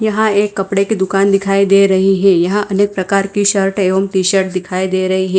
यहां एक कपड़े की दुकान दिखाई दे रही है यहां अनेक प्रकार की शर्ट एवं टी शर्ट दिखाई दे रही है।